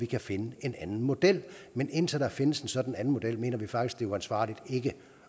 kan finde en anden model men indtil der findes en sådan anden model mener vi faktisk det er uansvarligt ikke